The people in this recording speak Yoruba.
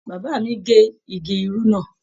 Bàbá mí ge igi irú náà.